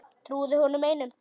Trúði honum einum.